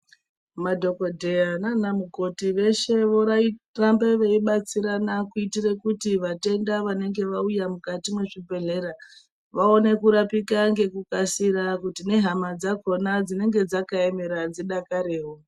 Madhokoteya nana mukoti veshe vorambe veibatsirana kuitire kuti vatenda vanenge vauya mukati mezvi bhehlera vaone kurapika ngeku kasira kuti ne hama dzakona dzinenge dzaka emera dzi dakarewo .